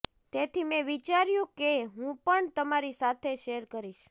તેથી મેં વિચાર્યું કે હું પણ તમારી સાથે શેર કરીશ